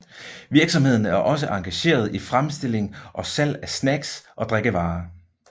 Virksomheden er også engageret i fremstilling og salg af snacks og drikkevarer